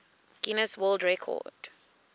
guinness world record